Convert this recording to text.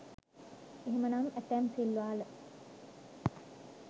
එහෙමනම් ඇතැම් සිල්වා ල